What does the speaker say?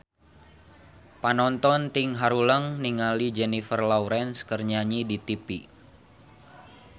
Panonton ting haruleng ningali Jennifer Lawrence keur nyanyi di tipi